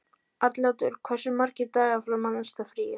Arnljótur, hversu margir dagar fram að næsta fríi?